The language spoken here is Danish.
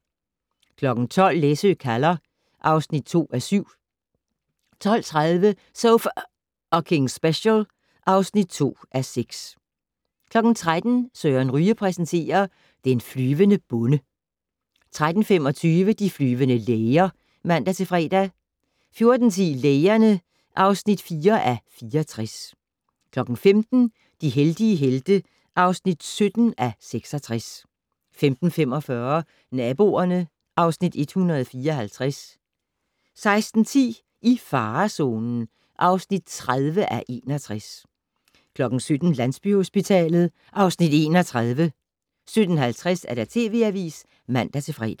12:00: Læsø kalder (2:7) 12:30: So F***ing Special (2:6) 13:00: Søren Ryge præsenterer: Den flyvende bonde 13:25: De flyvende læger (man-fre) 14:10: Lægerne (4:64) 15:00: De heldige helte (17:66) 15:45: Naboerne (Afs. 154) 16:10: I farezonen (30:61) 17:00: Landsbyhospitalet (Afs. 31) 17:50: TV Avisen (man-fre)